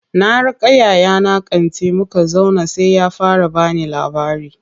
Na raka yayana kanti, muka zauna sai ya fara bani labari.